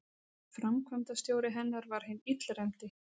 Framkvæmdastjóri hennar var hinn illræmdi